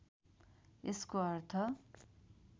यसको अर्थ